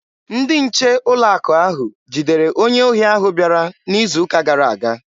Ndị nche ụlọ akụ ahụ jidere onye ohi ahụ bịara n'izu ụka gara aga.